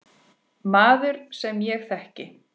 Maður, sem ég þekki.